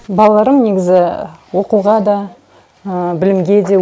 балаларым негізі оқуға да білімге де